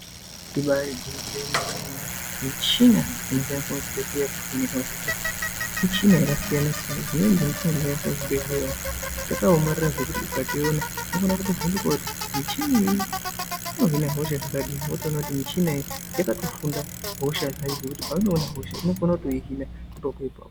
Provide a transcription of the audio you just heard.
Ibari gwinyiso remene mene michina inoshandiswa muzvibhedhlera kuvheneka hosha muchina dzakasiyana siyana Dzakaoma kuti ukaiona unokona kuvhunduka kuti muchini unohina hosha dzakadi votopona kuti muchini iyi yakatofunda hosha dzayo zvekuti hosha idzi.